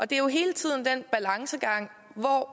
det er jo hele tiden en balancegang